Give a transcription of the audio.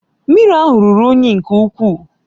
Mmiri ahụ ruru unyi nke ukwuu